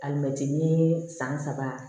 Alimɛti san saba